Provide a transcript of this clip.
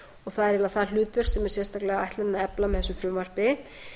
og það er það hlutverk sem er sérstaklega ætlunin að efla með þess frumvarpi